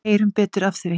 Heyrum betur af því.